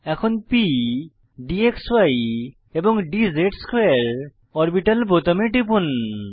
এখন প d ক্সি এন্ড dz2 অরবিটাল বোতামে টিপুন